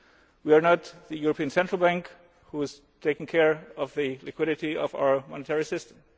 We are not the European Central Bank, which is taking care of the liquidity of our monetary system.